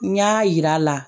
N y'a yir'a la